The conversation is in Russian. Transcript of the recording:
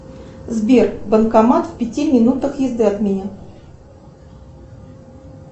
сбер банкомат в пяти минутах езды от меня